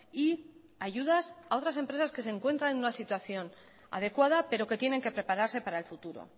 y ayudas a otras empresas que se encuentran en una situación adecuada pero que tienen que preparase para el futuro